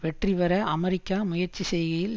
வெற்றிபெற அமெரிக்கா முயற்சி செய்கையில்